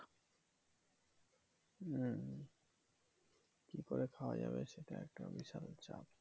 হম কি করে খাওয়া যাবে সেটা একটা বিশাল চাপ।